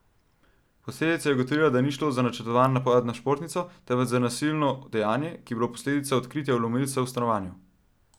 Policija je ugotovila, da ni šlo za načrtovan napad na športnico, temveč za nasilno dejanje, ki je bilo posledica odkritja vlomilca v stanovanju.